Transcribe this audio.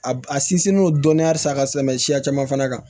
A a sinsinnen don dɔnniya san ka tɛmɛ siya caman fana kan